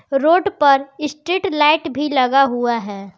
Road पर street light भी लगा हुआ है।